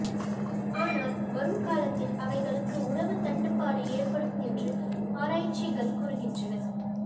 ஆனால் வரும்காலத்தில் அவைகளுக்கு உணவுத் தட்டுப்பாடு ஏற்படும் என்று ஆராய்ச்சிகள் கூறுகின்றன